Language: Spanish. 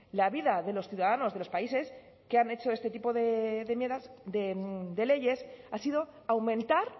la vida de los ciudadanos de los países que han hecho este tipo de leyes ha sido aumentar